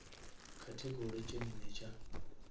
category tše nne tša